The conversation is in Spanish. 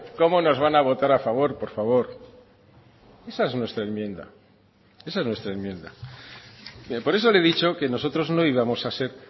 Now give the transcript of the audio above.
cómo nos van a votar a favor por favor esa es nuestra enmienda esa es nuestra enmienda por eso le he dicho que nosotros no íbamos a ser